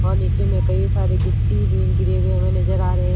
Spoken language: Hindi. वहाँ नीचे में कई सारे गिट्टी भी गिरे हुए हमें नजर आ रहे हैं ।